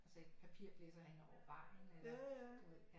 Altså et papir blæser hen over vejen eller du ved